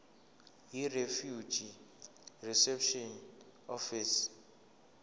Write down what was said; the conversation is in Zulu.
yirefugee reception office